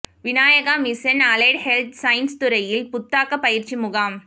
Vinayaka Mission Allied Health Science துறையில் புத்தாக்க பயிற்சி முகாம்